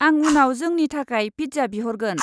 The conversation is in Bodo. आं उनाव जोंनि थाखाय पिज्जा बिहरगोन।